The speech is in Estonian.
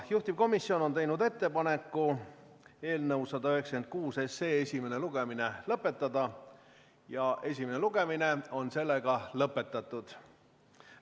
Juhtivkomisjon on teinud ettepaneku eelnõu 196 esimene lugemine lõpetada ja esimene lugemine ongi lõpetatud.